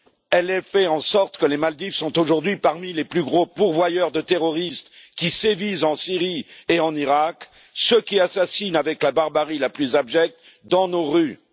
Elle fait en sorte que les Maldives sont aujourd'hui parmi les plus gros pourvoyeurs de terroristes qui sévissent en Syrie et en Irak, ceux qui assassinent avec la barbarie la plus abjecte dans nos rues.